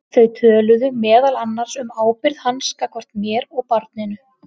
Þau töluðu meðal annars um ábyrgð hans gagnvart mér og barninu.